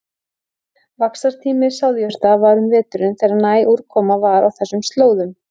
Vaxtartími sáðjurta var um veturinn þegar næg úrkoma var á þessum slóðum.